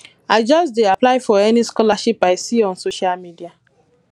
i just dey apply for any scholarship i see on social media